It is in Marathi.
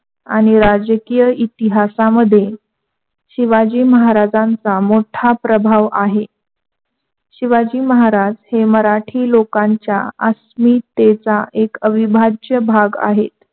आणि राजकीय इतिहासामध्ये शिवाजी महाराजाचा मोठा प्रभाव आहे. शिवाजी महाराज हे मराठी लोकांच्या अस्मितेचा अविभाज्य भाग आहे.